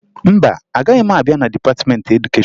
Mba, agaghị m abịa na dịpatịmentị edukeshọn